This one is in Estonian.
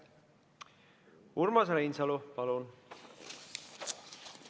Urmas Reinsalu, palun!